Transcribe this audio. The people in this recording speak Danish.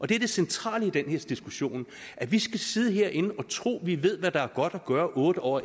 det er det centrale i den her diskussion at vi skal sidde herinde og tro at vi ved hvad der er godt at gøre otte år